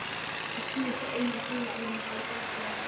Á síðasta eina og hálfa árinu hafði Grettir að sögn